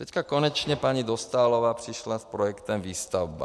Teďka konečně paní Dostálová přišla s projektem Výstavba.